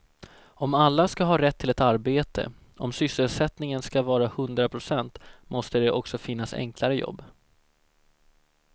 Om alla ska ha rätt till ett arbete, om sysselsättningen ska vara hundra procent måste det också finnas enklare jobb.